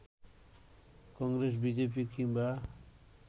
Congress, BJP কিংবা